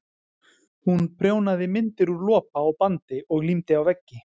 Hún prjónaði myndir úr lopa og bandi og límdi á veggi.